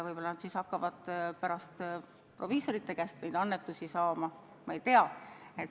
Võib-olla nad siis hakkavad pärast proviisorite käest annetusi saama – ma ei tea.